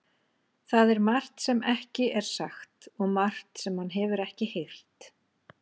Það er margt sem ekki er sagt og margt sem hann hefur ekki heyrt.